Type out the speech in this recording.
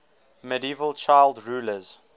medieval child rulers